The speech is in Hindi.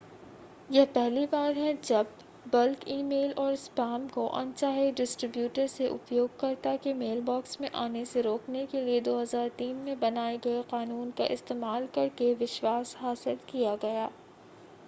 यह पहली बार है जब बल्क ई-मेल और स्पैम को अनचाहे डिस्ट्रिब्यूटर से उपयोगकर्ता के मेलबॉक्स में आने से रोकने के लिए 2003 में बनाए गए कानून का इस्तेमाल करके विश्वास हासिल किया गया